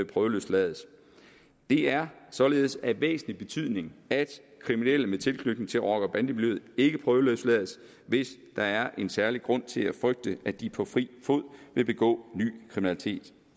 prøveløslades det er således af væsentlig betydning at kriminelle med tilknytning til rocker bande miljøet ikke prøveløslades hvis der er en særlig grund til at frygte at de på fri fod vil begå ny kriminalitet